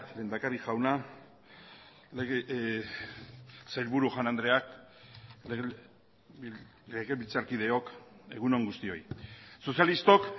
lehendakari jauna sailburu jaun andreak legebiltzarkideok egun on guztioi sozialistok